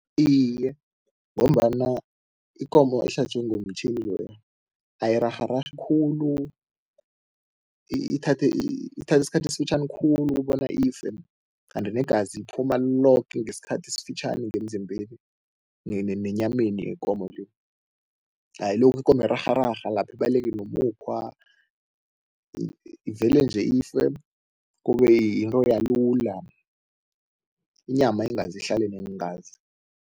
Iye, ngombana ikomo ehlatjwe ngomtjhini loya ayirarhararhi khulu ithatha isikhathi esifitjhani khulu ukobana ife kanti negazi liphuma loke ngesikhathi esifitjhani ngemzimbeni nenyameni yekomo le, ayilokhu ikomo irarhararha lapha ibaleke nomukhwa, ivele nje ife kube yinto yalula, inyama ingaze ihlale neengazi.